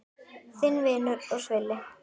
Þinn vinur og svili.